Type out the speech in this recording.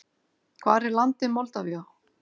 Hvar er landið Moldavía?